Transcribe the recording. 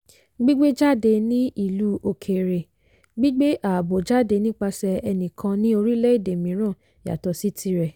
gbígbé jáde ní ìlú òkèèrè - gbígbé àábò jáde nipasẹ̀ ẹnìkan ní orílẹ̀-èdè mìíràn yàtọ̀ sí tirẹ̀.